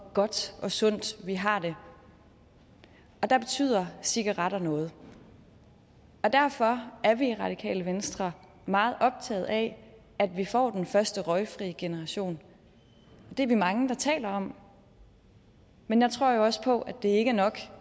godt og sundt vi har det der betyder cigaretter noget derfor er vi i radikale venstre meget optaget af at vi får den første røgfri generation det er vi mange der taler om men jeg tror også på at det ikke er nok